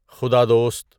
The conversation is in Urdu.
خدا دوست